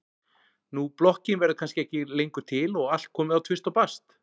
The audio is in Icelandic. Nú blokkin verður kannski ekki lengur til og allt komið á tvist og bast.